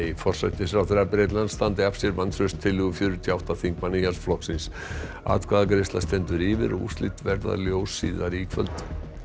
forsætisráðherra Bretlands standi af sér vantrauststillögu fjörutíu og átta þingmanna Íhaldsflokksins atkvæðagreiðsla stendur yfir og úrslit verða ljós síðar í kvöld